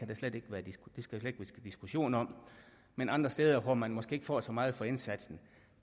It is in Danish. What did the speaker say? der slet ikke være diskussion om men andre steder hvor man måske ikke får så meget for indsatsen